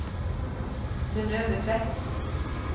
Synnøve Tvedt